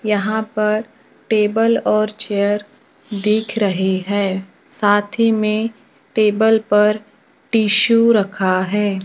यहां पर टेबल और चेयर दिख रहे हैं साथी में टेबल पर टिशु रखा है।